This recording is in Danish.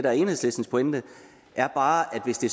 er enhedslistens pointe er bare at hvis det